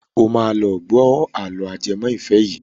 Ó máa lọ gbọ́ àlọ́ ajẹmọ́ ìfẹ́ yìí.